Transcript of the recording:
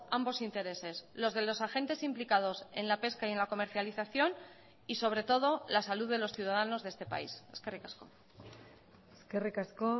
ambos intereses los de los agentes implicados en la pesca y en la comercialización y sobre todo la salud de los ciudadanos de este país eskerrik asko eskerrik asko